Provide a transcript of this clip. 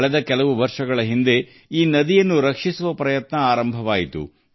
ಕಳೆದ ಕೆಲವು ವರ್ಷಗಳಿಂದ ಈ ನದಿಯನ್ನು ಉಳಿಸುವ ಪ್ರಯತ್ನಗಳು ಪ್ರಾರಂಭವಾಗಿವೆ